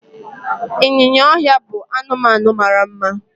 ịnyịnya ọhịa bụ anụmanụ mara mma